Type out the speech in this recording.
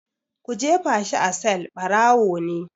Ku jefa shi a sel!barawo ne.